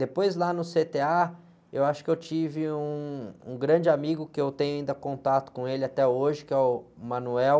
Depois lá no cê-tê-á eu acho que eu tive um, um grande amigo que eu tenho ainda contato com ele até hoje, que é o.